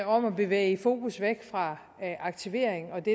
om at bevæge fokus væk fra aktivering og det